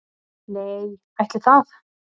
Nei, ætli það